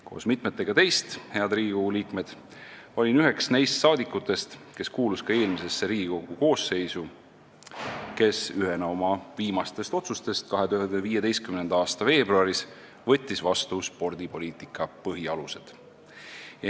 Koos mitmetega teist, head Riigikogu liikmed, olin üks neist saadikutest, kes ka eelmisesse Riigikogu koosseisu kuulus ja kes ühena oma viimastest otsustest võttis 2015. aasta veebruaris vastu spordipoliitika põhialused.